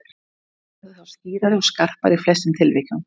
Myndin verður þá skýrari og skarpari í flestum tilvikum.